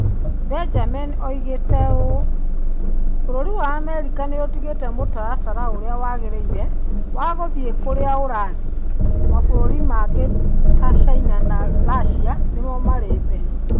Benjamin oigire ũũ: "Bũrũri wa Amerika nĩ ũtigĩte mũtaratara ũrĩa wagĩrĩire wa gũthiĩ kũrĩa ũrathiĩ - mabũrũri mangĩ ta China na Russia nĩmo marĩ mbere".